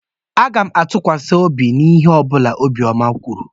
Aga m atụkwasị obi n'ihe ọ bụla Obiọma kwuru.